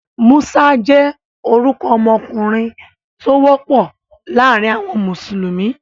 Musa jẹ́ orúkọ ọmọkùnrin tó wọ́pọ̀ láàrin àwọn mùsùlùmí.